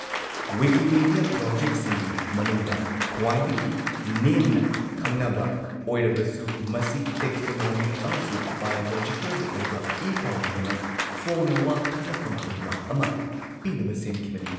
Wikimedia ꯄ꯭ꯔꯣꯖꯦꯛꯁꯤꯡꯒꯤ ꯃꯅꯨꯡꯗ ꯈ꯭ꯋꯥꯏꯗꯒꯤ ꯅꯦꯝꯅ ꯈꯪꯅꯕ ꯑꯣꯏꯔꯕꯁꯨ ꯃꯁꯤ ꯇꯦꯛꯁꯣꯅꯣꯃꯤꯛ ꯑꯃꯁꯨꯡ ꯕꯥꯏꯑꯣꯂꯣꯖꯤꯀꯦꯜꯒꯤ ꯑꯣꯏꯕ ꯏ ꯄꯥꯎꯒꯤꯗꯃꯛ ꯐꯣꯡꯅ ꯋꯥ ꯈꯟꯅꯐꯝ ꯑꯣꯏꯕ ꯑꯃ ꯄꯤꯅꯕ ꯁꯦꯝꯈꯤꯕꯅꯤ꯫